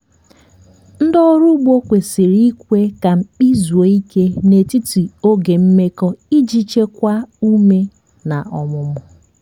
ndị ọrụ ugbo kwesịrị ikwe ka mkpị zuo ike n'etiti oge mmekọ iji chekwaa ume na ọmụmụ.